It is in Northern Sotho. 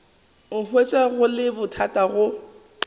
hwetša go le bothata go